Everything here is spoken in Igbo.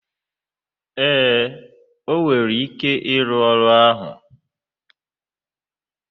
ee, o nwere ike ịrụ ọrụ ahụ.